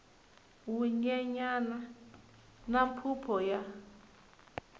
wu nyenyana na phuphu ya